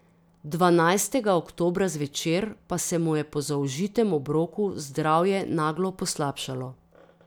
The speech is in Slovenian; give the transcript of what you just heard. Dvanajstega oktobra zvečer pa se mu je po zaužitem obroku zdravje naglo poslabšalo.